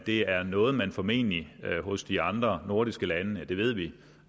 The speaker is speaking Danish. er noget man formentlig hos de andre nordiske lande ja det ved vi